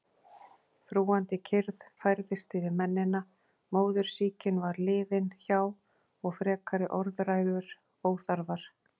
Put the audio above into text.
Þrúgandi kyrrð færðist yfir mennina, móðursýkin var liðin hjá og frekari orðræður óþarfar.